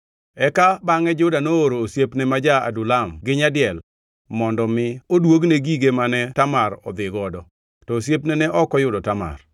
Eka bangʼe Juda nooro osiepne ma ja-Adulam gi nyadiel mondo mi oduogne gige mane Tamar odhigodo, to osiepne ne ok oyudo Tamar.